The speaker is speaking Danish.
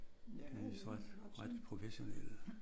Ja de er ret sådan